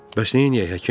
Bəs neyləyək həkim?